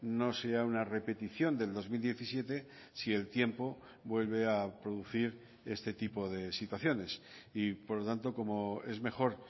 no sea una repetición del dos mil diecisiete si el tiempo vuelve a producir este tipo de situaciones y por lo tanto como es mejor